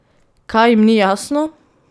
Kaj jim ni jasno?